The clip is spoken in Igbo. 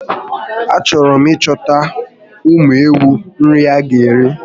A chọrọ m ị chọtara ụmụ ewu nri ha ga eri